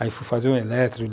Aí, fui fazer o eletro.